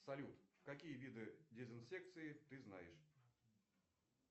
салют какие виды дезинсекции ты знаешь